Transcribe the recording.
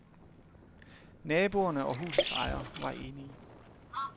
Naboerne og husets ejer var enige.